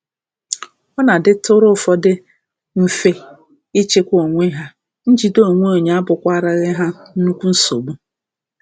Ọ na-adịtụrụ ụfọdụ mfe ịchịkwa onwe ha, njide onwe abụkwaraghị ha nnukwu nsogbu.